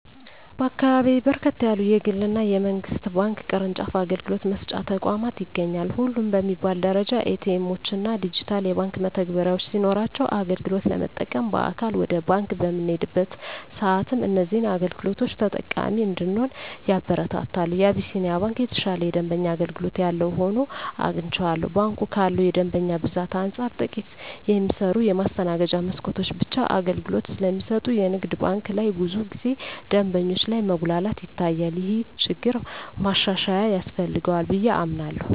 በአካባቢየ በርከት ያሉ የግል እና የመንግስት ባንክ ቅርጫፍ አገልግሎት መስጫ ተቋማት ይገኛሉ። ሁሉም በሚባል ደረጃ ኤ.ቲ. ኤምዎች እና ዲጂታል የባንክ መተግበሪያዎች ሲኖሯቸው አገልግሎት ለመጠቀም በአካል ወደ ባንክ በምንሄድበት ሰአትም እዚህን አገልግሎቶች ተጠቃሚ እንድንሆን ያበረታታሉ። የአቢስንያ ባንክ የተሻለ የደንበኛ አገልግሎት ያለው ሆኖ አግኝቸዋለሁ። ባንኩ ካለው የደንበኛ ብዛት አንፃር ጥቂት የሚሰሩ የማስተናገጃ መስኮቶች ብቻ አገልግሎት ስለሚሰጡ የንግድ ባንክ ላይ ብዙ ጊዜ ደንበኞች ላይ መጉላላት ይታያል። ይህ ችግር ማሻሻያ ያስፈልገዋል ብየ አምናለሁ።